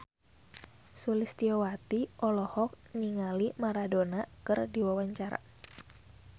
Sulistyowati olohok ningali Maradona keur diwawancara